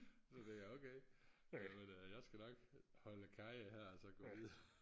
så tænkte jeg okay jamen jeg skal nok holde karry her og så gå videre